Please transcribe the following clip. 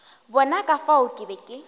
bona ka fao ke be